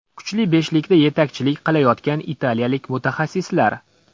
Kuchli beshlikda yetakchilik qilayotgan italiyalik mutaxassislar.